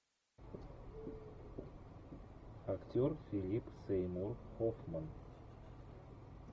актер филипп сеймур хоффман